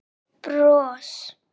Og bros.